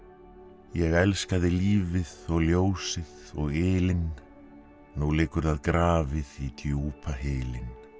ég elskaði lífið og ljósið og ylinn nú liggur það grafið í djúpa hylinn